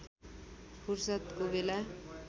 फुर्सदको बेला